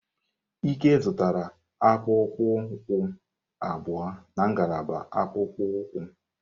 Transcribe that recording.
Ike zụtara akpụkpọ ụkwụ abụọ na ngalaba akpụkpọ ụkwụ.